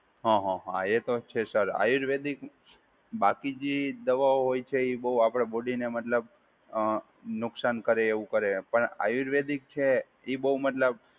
હા હા હા, એ તો છે સર. આયુર્વેદિક બાકી જે દવાઓ હોય છે એ બહુ આપડા બોડીને મતલબ અ નુકશાન કરે એવું કરે પણ આયુર્વેદિક છે, એ બહુ મતલબ